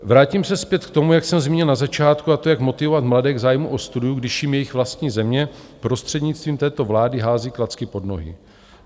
Vrátím se zpět k tomu, jak jsem zmínil na začátku, a to jak motivovat mladé k zájmu o studium, když jim jejich vlastní země prostřednictvím této vlády hází klacky pod nohy.